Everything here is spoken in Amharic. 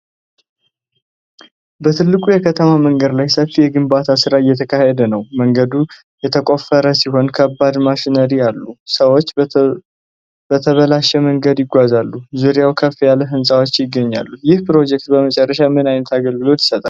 በትልቁ የከተማ መንገድ ላይ ሰፊ የግንባታ ሥራ እየተካሄደ ነው። መንገዱ የተቆፈረ ሲሆን፣ ከባድ ማሽነሪዎች አሉ፤ ሰዎችም በተበላሸ መንገድ ይጓዛሉ። ዙሪያውን ከፍ ያሉ ሕንፃዎች ይገኛሉ። ይህ ፕሮጀክት በመጨረሻ ምን ዓይነት አገልግሎት ይሰጣል?